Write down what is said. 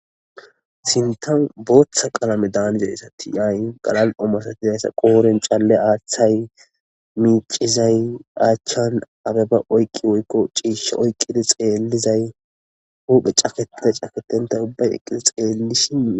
Sintan booththa qalame daaniza issati yay galal'omasatizayssa qooren calle aaththay miicizay aachchan abeba oykqi woykko ciisha oyqqidi xeellizay huphe caketida caketentay ubbay eqqidi xeelli shii.